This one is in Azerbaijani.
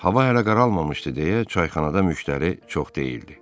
Hava hələ qaralmamışdı deyə çayxanada müştəri çox deyildi.